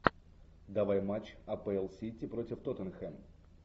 давай матч апл сити против тоттенхэм